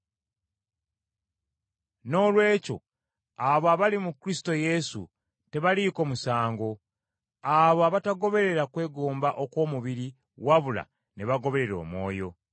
Noolwekyo abo abali mu Kristo Yesu, tebaliiko musango; abo abatagoberera kwegomba okw’omubiri wabula ne bagoberera Omwoyo.